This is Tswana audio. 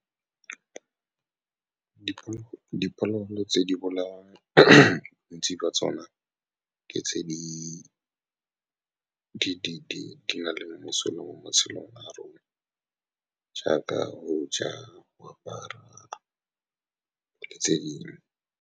Diphologolo tse di bolawang ntsi ka tsone ka tse di na le mosola mo matshelong a rona, jaaka go ja, go apara, le tse dingwe.